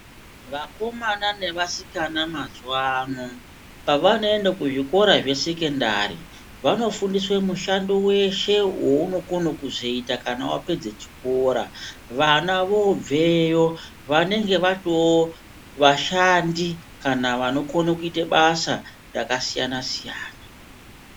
Vakomana nevasikana mazuwa ano pavanoenda kuzvikora zvesekendari vanofundiswa mushando weshe waunokona kuzoita kana wapedza chikora vana vobveyo vanenge vatovashandi kana vanokona kuita basa rakasiyana siyana